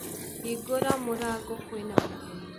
Hingũra mũrango kwĩ na mũgeni